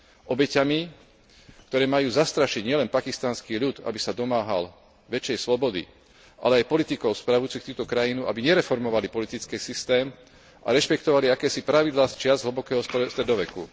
Obeťami, ktoré majú zastrašiť nielen pakistanský ľud, aby sa domáhal väčšej slobody, ale aj politikov spravujúcich túto krajinu, aby nereformovali politický systém a rešpektovali akési pravidlá z čias hlbokého stredoveku.